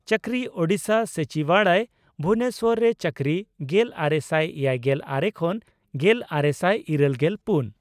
ᱪᱟᱹᱠᱨᱤ ᱺ ᱳᱰᱤᱥᱟ ᱥᱚᱪᱤᱵᱟᱲᱚᱭ, ᱵᱷᱩᱵᱚᱱᱮᱥᱚᱨ ᱨᱮ ᱪᱟᱹᱠᱨᱤ ᱼᱜᱮᱞᱟᱨᱮᱥᱟᱭ ᱮᱭᱟᱭᱜᱮᱞ ᱟᱨᱮ ᱠᱷᱚᱱ ᱜᱮᱞᱟᱨᱮᱥᱟᱭ ᱤᱨᱟᱹᱞᱜᱮᱞ ᱯᱩᱱ )᱾